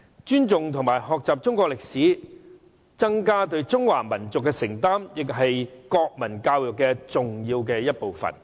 尊重及學習中國歷史，增加對中華民族的承擔，亦是國民教育重要的一部分。